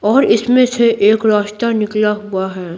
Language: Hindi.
और इसमें से एक रास्ता निकला हुआ है।